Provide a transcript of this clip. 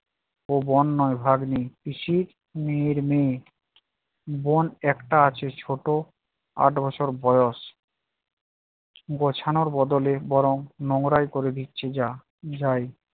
ও বোন নয়, ভাগ্নি, পিসির মেয়ের মে। বোন একটা আছে ছোট আট বছর বয়স গোছানোর বদলে বরং নোংরা এ করে দিচ্ছি যা~ যাই